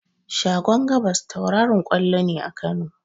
Shagon gabas tauraron ƙwallo ne a Kano.